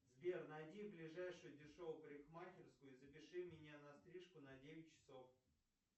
сбер найди ближайшую дешевую парикмахерскую и запиши меня на стрижку на девять часов